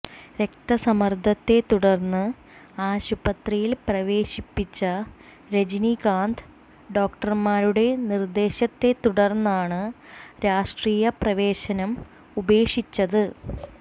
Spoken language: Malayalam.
രക്തസമ്മർദത്തെതുടർന്ന് ആശുപത്രിയിൽ പ്രവേശിപ്പിച്ച രജനീകാന്ത് ഡോക്ടർമാരുടെ നിർദ്ദേശത്തെ തുടർന്നാണ് രാഷ്്ട്രീയപ്രവേശനം ഉപേക്ഷിച്ചത്